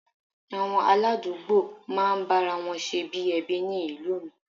Àwọn aládùúgbò máa ń bára wọn ṣe bí ẹbí ni ìlú mi